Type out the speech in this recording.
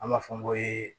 An b'a fɔ n ko eee